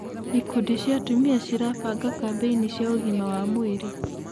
Ikundi cia atumia cirabanga kambĩini cia ũgima wa mwĩrĩ.